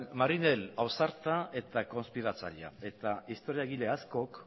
marinel ausarta eta konspiratzailea eta historiagile askok